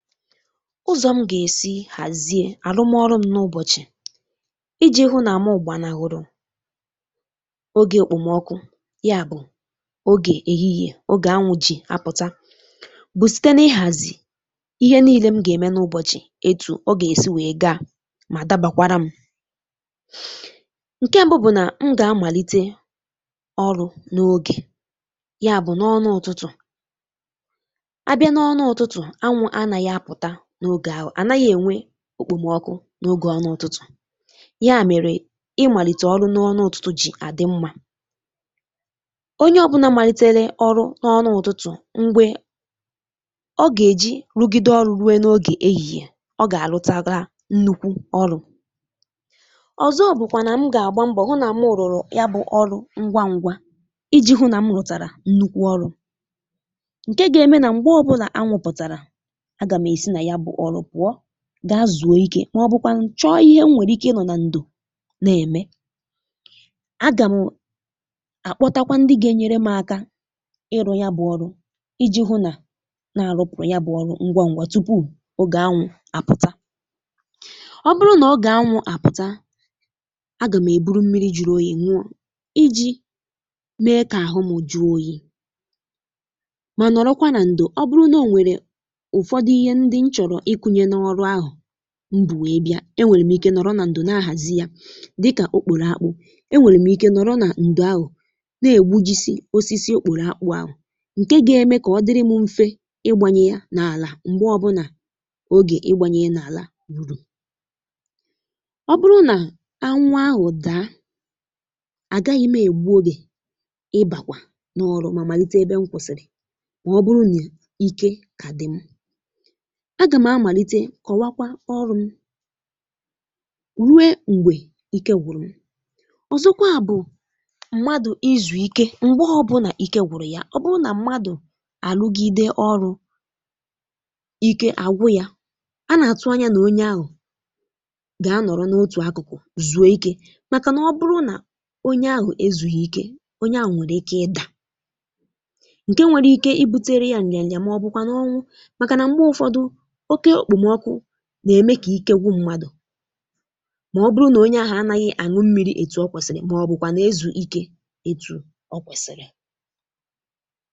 Ụzọ̀ m gà-èsi hàzie àrụm ọrụ m n’ụbọ̀ch, ị̀ iji̇ hụ nà m gbarnahụrụ̇ ogè òkpòmọkụ, ya bụ̀ ogè ehìhìè, ogè anwụ̇ ji̇ apụ̀ta, bụ̀ site n’ịhàzì ihe niile m gà-ème n’ụbọ̀chị̀ etù, ọ gà-èsi wèe gà mà dàbakwara m. Ǹke ṁbụ bụ̀ nà m gà-amàlite ọrụ̇ n’ogè, ya bụ̀ n’ọnụ ụ̀tụtụ̀ abịa n’ọnụ ụ̀tụtụ̀, anwụ̀ ànàghị apụ̀ta n’ogè ahụ, ànàghị̇ ènwe okpòmọkụ n’ogè ọnụ ụ̀tụtụ̀, yà mèrè ịmàlite ọrụ n’ọnụ ụ̀tụtụ̀ jì àdị mmȧ. Onye ọ̀bụna malitere ọrụ n’ọnụ ụ̀tụtụ̀, mgbė ọ gà-èji rugide ọru ruo n’ogè ehìhìè, ọ gà-àrụ tara nnùkwu ọru. Ọ̀zọ bụ̀kwà nà m gà-àgba mbọ̀ hụ nà mụ rùrù, ya bụ̇ ọrụ ngwa ngwa, iji̇ hụ nà m rụ̀tàrà nnukwu ọrụ̇ ǹke gà-eme nà m̀gbè ọbụnà anwụ̀ pụtara, agàm esi na ya bụ̇ ọrụ pụọ gà-azụ̀okė, màọ̀bụ̀kwa nchọ ihe m nwere ike ịnọ̀ na ndò na-eme. Agàm akpọtakwa ndị gà-ènye m aka ịrụ̇, ya bụ̇ ọrụ iji hụ nà a na-arụpụ̀rụ̀, ya bụ̇ ọrụ ngwa ngwa, tupu ogè anwụ̀ àpụta. Ọ bụrụ nà ọ gà-anwụ̀ àpụ̀ta, agàm èburu mmiri juru oyì nuo iji̇ mee kà àhụ m jụọ oyi, mà nọrọkwa na ndò. Ọ bụrụ nà o nwèrè òfòdu ihe ndị n’chọrọ ikunye n’ọrụ ahụ̀, nji wee bịa, enwèrè m ike nọrọ nà ndò, na-ahàzi yà dịkà okpòrò akpụ̇. Enwèrè m ike nọrọ nà ǹdụ ahụ̀ na-egbu jisi osisi okpòrò akpụ̇ ahụ̀, ǹke gà-eme kà ọ dịrị m mfė ịgbànyè ya n’àlà. M̀gbè ọ bụna ogè ịgbànyè n’àlà ruru, ọ bụrụ nà anwụ̀ ahụ̀ daa, à gà-àghaghị̇ egbu, ogè ịbàkwà n’ọrụ, mà malite ebe m kwụ̀sị̀rị̀. Mà ọ bụrụ nà ike kà dị̀ m, agàm amàlite kọwakwa ọrụ̇ m ruo m̀gbè ike gwụ̀rụ̀. Ọ̀zọkwa bụ̀ mmadụ̀ izù ike, m̀gbe ọbụnà ike gwụ̀rụ̀ ya. Ọbụrụ nà mmadụ̀ àlụgìdè ọrụ̇ ike àgwu ya, a nà-àtụ anyȧ nà onye ahụ̀ gà-anọ̀rọ n’otù akụ̀kụ̀ zuò ike, màkà nà ọ bụrụ nà onye ahụ̀ ezùghi̇ ike, onye à nwèrè ike ịdà ǹke nwere ike ibu̇tėrė yà ǹyanya, mà ọbụkwa ọnwụ, màkà nà m̀gbè òfòdu, oke okpòmọkụ nà-èmè kà ike gwu mmadụ̀, màọ̀bụ̀rụ̀ nà onye ahụ̀ ànàghị anụ mmiri ètù ọ kwèsìrì, màọ̀bụ̀kwa nà ịzụ̀ ike ètù ọ kwèsìrì.